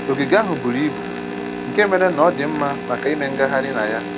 Ogige ahụ buru ibu nke mere na ọ dị mma maka ime ngagharị na ya